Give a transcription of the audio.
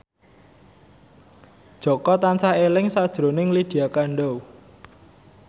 Jaka tansah eling sakjroning Lydia Kandou